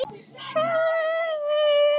Bros sem sagði